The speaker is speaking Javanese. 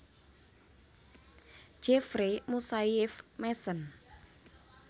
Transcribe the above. Jeffrey Moussaieff Masson